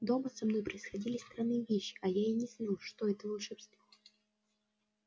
дома со мной происходили странные вещи а я и не знал что это волшебство